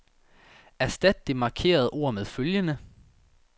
Erstat det markerede ord med følgende.